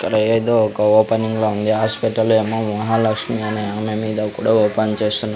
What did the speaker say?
ఇక్కడ ఏదో ఒక ఓపెనింగ్ లో ఉంది హాస్పటల్ ఏమో మహాలక్ష్మి అనే ఆమె మీద కూడా ఓపెన్ చేస్తున్న.